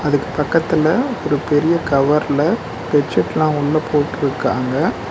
அதுக்கு பக்கத்துல ஒரு பெரிய கவர்ல பெட்சீட்லா உள்ள போட்ருக்காங்க.